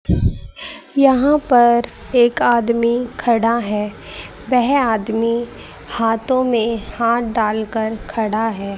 यहां पर एक आदमी खड़ा है वेह आदमी हाथों में हाथ डालकर खड़ा है।